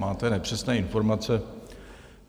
Máte nepřesné informace.